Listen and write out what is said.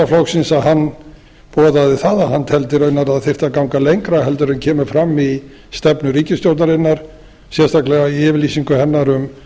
flokksins boðaði það að hann teldi raunar að það þyrfti að ganga lengra heldur en kemur fram í stefnu ríkisstjórnarinnar sérstaklega í yfirlýsingu hennar um